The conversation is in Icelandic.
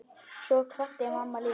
Svo kvaddi mamma líka.